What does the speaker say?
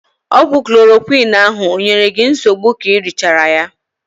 Ọgwụ klorokwiin ahụ o nyere gị nsogbu k'i richaara ya?